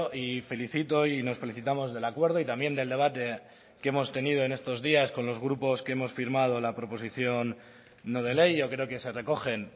y felicito y nos felicitamos del acuerdo y también del debate que hemos tenido en estos días con los grupos que hemos firmado la proposición no de ley yo creo que se recogen